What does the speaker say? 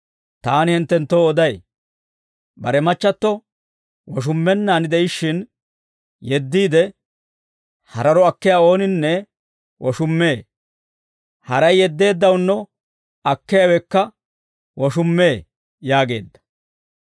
Taani hinttenttoo oday; bare machchatto woshummennaan de'ishshin yeddiide, hararo akkiyaa ooninne woshummee; haray yeddeeddawunno akkiyaawekka woshummee» yaageedda.